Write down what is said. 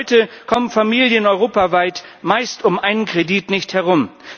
Heute kommen Familien europaweit meist um einen Kredit nicht herum.